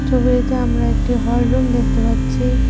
ছবিটিতে আমরা একটি হল রুম দেখতে পাচ্ছি।